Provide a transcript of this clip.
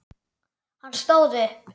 Hann stóð upp.